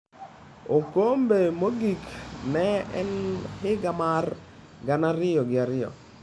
Okombe mogik ne en higa mar gana ariyo gi ariyo.